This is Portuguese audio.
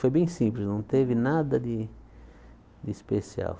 Foi bem simples, não teve nada de de especial.